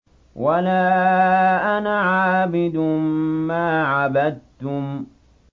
وَلَا أَنَا عَابِدٌ مَّا عَبَدتُّمْ